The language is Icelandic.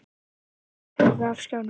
Skilaboðin hurfu af skjánum.